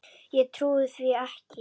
Ég trúi því ekki!